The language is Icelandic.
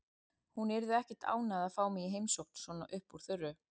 Hún yrði ekkert ánægð að fá mig í heimsókn svona upp úr þurru.